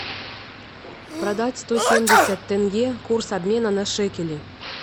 продать сто семьдесят тенге курс обмена на шекели